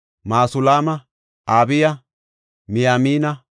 Masulaama, Abiya, Miyamina,